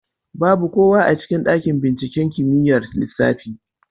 Babu kowa a cikin ɗaƙin binciƙen kimiƴar lissafi.